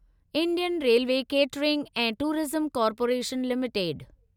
Indian railway catering and tourism corporation limited